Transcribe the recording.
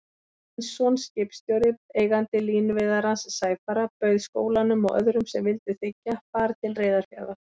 Steinsson skipstjóri, eigandi línuveiðarans Sæfara, bauð skólanum og öðrum sem vildu þiggja, far til Reyðarfjarðar.